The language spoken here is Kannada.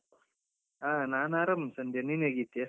ಹಾ, ನಾನ್ ಆರಾಮ್ ಸಂಧ್ಯಾ. ನೀನ್ ಹೇಗಿದ್ದೀಯಾ?